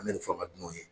An bɛ nin fanga dunnaw ye